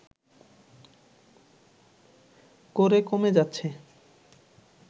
করে কমে যাচ্ছে